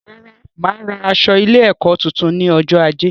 Rárá, máa ra aṣọ ilé ẹkọ tuntun ní ọjọ ajé